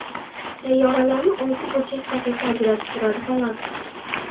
Sayyoralarni olti burchak daqiqa ajratib turadi, xolos.